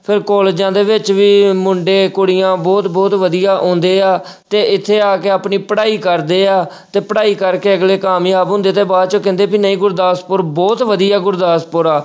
ਫਿਰ ਕਾਲਜਾਂ ਦੇ ਵਿੱਚ ਵੀ ਮੁੰਡੇ ਕੁੜੀਆਂ ਬਹੁਤ ਬਹੁਤ ਵਧੀਆ ਆਉਂਦੇ ਆ ਤੇ ਇੱਥੇ ਆ ਕੇ ਆਪਦੀ ਪੜ੍ਹਾਈ ਕਰਦੇ ਆ, ਤੇ ਪੜ੍ਹਾਈ ਕਰਕੇ ਅਗਲੇ ਕਾਮਯਾਬ ਹੁੰਦੇ ਤੇ ਬਾਅਦ ਚੋਂ ਕਹਿੰਦੇ ਵੀ ਨਹੀਂ ਗੁਰਦਾਸਪੁਰ ਬਹੁਤ ਵਧੀਆ ਗੁਰਦਾਸਪੁਰ ਆ।